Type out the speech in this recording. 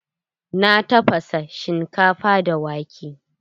Na tafasa shinkafa da wake.